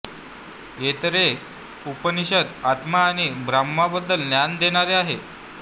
ऐतरेय उपनिषद आत्मा आणि ब्रह्माबद्दल ज्ञान देणारे आहे